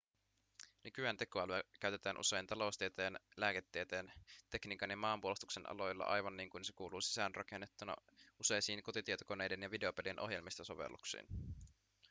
nykyään tekoälyä käytetään usein taloustieteen lääketieteen tekniikan ja maanpuolustuksen aloilla aivan niin kuin se kuuluu sisäänrakennettuna useisiin kotitietokoneiden ja videopelien ohjelmistosovelluksiin